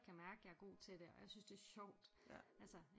Kan mærke jeg er god til det og jeg synes det er sjovt